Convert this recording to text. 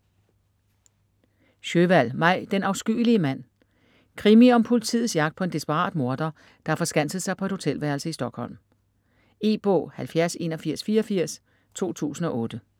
Sjöwall, Maj: Den afskyelige mand Krimi om politiets jagt på en desperat morder, der har forskanset sig på et hotelværelse i Stockholm. E-bog 708184 2008.